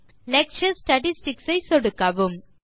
lecture statistics ஐ சொடுக்கவும்